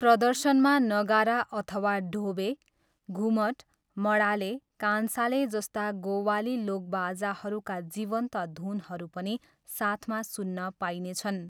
प्रदर्शनमा नगारा अथवा डोबे, घुमट, मडाले, कान्साले जस्ता गोवाली लोकबाजाहरूका जीवन्त धुनहरू पनि साथमा सुन्न पाइनेछन्।